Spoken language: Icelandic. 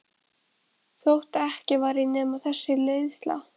Þótt ekki væri nema þessi leiðsla.